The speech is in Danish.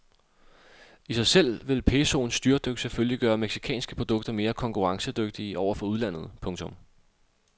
I sig selv vil pesoens styrtdyk selvfølgelig gøre mexicanske produkter mere konkurrencedygtige over for udlandet. punktum